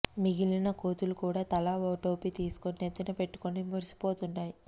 మిగిలిన కోతులు కూడా తలా ఓ టోపీ తీసుకుని నెత్తిన పెట్టుకుని మురిసిపోతున్నాయి